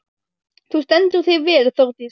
Þú stendur þig vel, Þórdís!